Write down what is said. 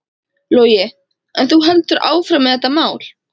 Logi: En þú heldur áfram með þetta mál?